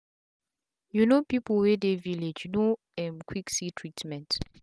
you no people wey dey village no um quick see treatment